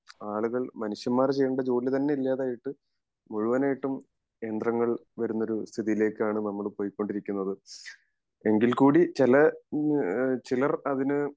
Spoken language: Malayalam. ആളുകൾ മനുഷ്യന്മാർ ചെയ്യേണ്ട ജോലി തന്നെ ഇല്ലാതായിട്ട് മുഴുവനായിട്ടും യന്ത്രങ്ങൾ വരുന്ന ഒരു സ്ഥിതിയിലേക്കാണ് നമ്മൾ പോയിക്കൊണ്ടിരിക്കുന്നത് എങ്കിൽ കൂടി ചില ഇഹ് ചിലർ അതിന്